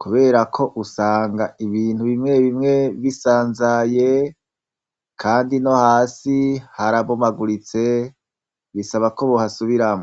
kubera ko usanga ibintu bimwe bimwe bisanzaye, kandi no hasi harabomaguritse bisaba ko buhasubiramwo.